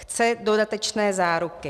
Chce dodatečné záruky.